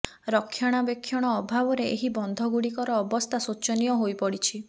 ରକ୍ଷଣାବେକ୍ଷଣ ଅଭାବରେ ଏହି ବନ୍ଧଗୁଡ଼ିକର ଅବସ୍ଥା ଶୋଚନୀୟ ହୋଇ ପଡ଼ିଛି